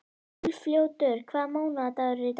Úlfljótur, hvaða mánaðardagur er í dag?